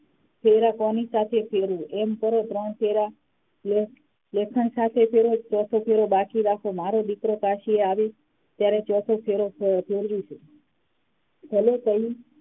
ફેરા કોની સાથે ફેરવું એમ કરો ત્રણ ફેરા લેખ લેખન સાથે ફેરવો ચોથો ફેરો બાકી રાખો મારો દિકરો કાશી આવે ત્યારે ચોથો ફેરો ફેર ફેરવીશું